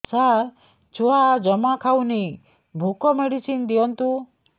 ସାର ଛୁଆ ଜମା ଖାଉନି ଭୋକ ମେଡିସିନ ଦିଅନ୍ତୁ